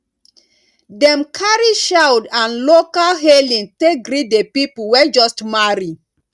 dem carry shoud and local hailing take greet the people wey just marry